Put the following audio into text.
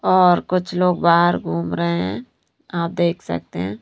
और कुछ लोग बाहर घूम रहे हैं आप देख सकते हैं।